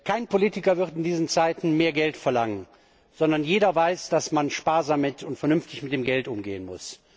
Kein Politiker wird in diesen Zeiten mehr Geld verlangen, sondern jeder weiß, dass man sparsam und vernünftig mit dem Geld umgehen muss.